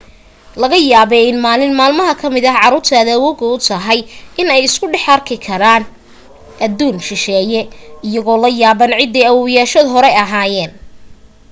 laga yaabee in maalin maalmaha ka mid ah caruurta aad awoowga u tahay in ay isku dhex arki karaanadduun shisheeye iyagoo la yaabban cidday awowayaashood hore ahaayeen